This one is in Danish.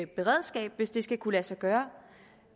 beredskab hvis det skal kunne lade sig gøre